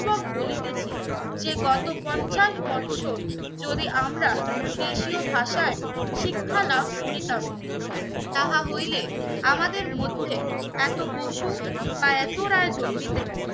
বলিতেছি যে গত পঞ্চাশ বছর যদি আমরা দেশীয় ভাষায় শিক্ষা লাভ করিতাম তাহা হইলে আমাদের মধ্যে একটা বসু বা এত রায় জন্ম নিতেন